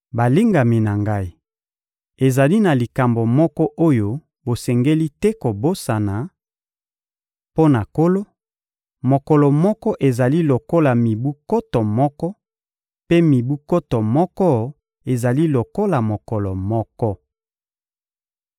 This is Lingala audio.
Balingami na ngai, ezali na likambo moko oyo bosengeli te kobosana: mpo na Nkolo, mokolo moko ezali lokola mibu nkoto moko, mpe mibu nkoto moko ezali lokola mokolo moko.